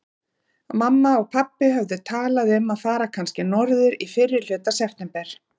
Mamma og pabbi höfðu talað um að fara kannski norður í fyrrihluta september.